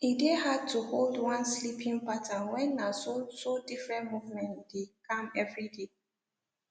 e dey hard to hold one sleeping pattern when na so so different movement u dey kam everyday